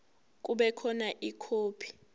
kube khona ikhophi